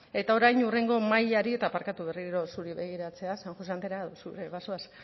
eta orain hurrengo mailari eta barkatu berriro zuri begiratzea san josé andrea zu ere bazoaz